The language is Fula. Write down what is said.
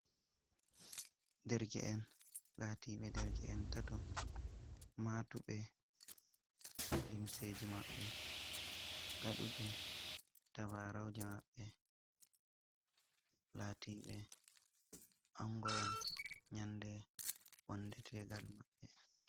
Derke'en laatiɓe derke'en tato, maatuɓe limseji maɓɓe, ngaɗuɓe tabaarauje maɓɓe, laatiɓe ango'en nyande wonde tegal maɓɓe.